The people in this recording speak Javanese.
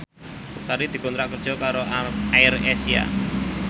Sari dikontrak kerja karo AirAsia